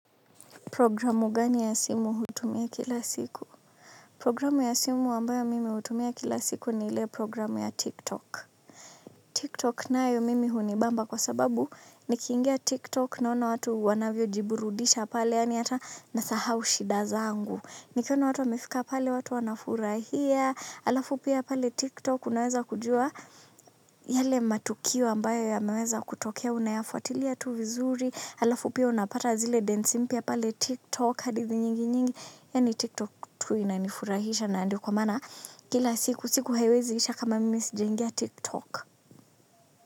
Programu gani ya simu hutumia kila siku? Programu ya simu ambayo mimi hutumia kila siku ni ile programu ya TikTok. TikTok nayo mimi hunibamba kwa sababu nikiingia TikTok naona watu wanavyojiburudisha pale yaani hata nasahau shida zangu. Nikiona watu wamefika pale watu wanafurahia, alafu pia pale TikTok unaweza kujua yale matukio ambayo yameweza kutokea unayafuatilia tu vizuri, alafu pia unapata zile densi mpya pale tiktok hadithi nyingi nyingi yaani tiktok tu inanifurahisha na ndio kwa maana kila siku siku haiwezi isha kama mimi sijaingia tiktok.